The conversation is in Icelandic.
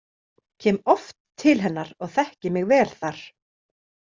Kem oft til hennar og þekki mig vel þar.